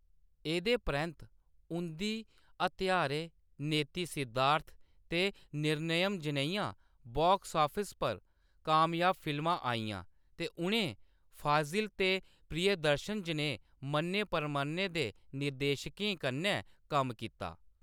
एह्‌‌‌दे परैंत्त उंʼदी हत्यारे, नेति सिद्धार्थ ते निर्णयम् जनेहियां बॉक्स ऑफिस पर कामयाब फिल्मां आइयां ते उʼनें फाज़िल ते प्रियदर्शन जनेह् मन्ने-परमन्ने दे निर्देशकें कन्नै कम्म कीता।